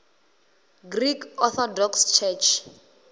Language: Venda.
greek orthodox church